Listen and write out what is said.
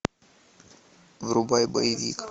врубай боевик